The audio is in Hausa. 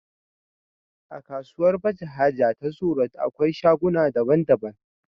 akasuwar baje haja ta zoo road akwai shaguna da bandaban